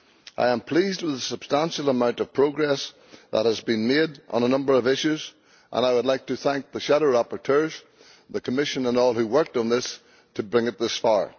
I am pleased with the substantial progress that has been made on a number of issues, and I would like to thank the shadow rapporteurs, the Commission and all who worked on this to bring it thus far.